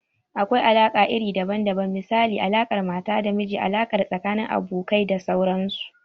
Akwai alaƙa iri daban daban misali, alaƙar mata da miji, alaƙa tsakanin abokai da dai sauransu.